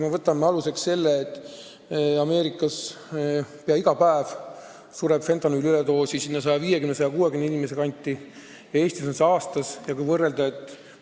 Võtame aluseks selle, et Ameerikas sureb fentanüüli üledoosi 150 inimese kanti peaaegu iga päev ja Eestis on nii palju selliseid juhtumeid aastas.